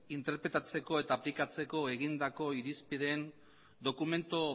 interpretatzeko eta aplikatzeko egindako irizpideen dokumentu